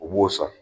U b'o san